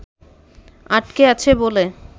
আটকে আছে বলে